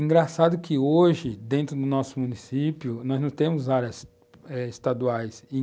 Engraçado que hoje, dentro do nosso município, nós não temos áreas eh estaduais.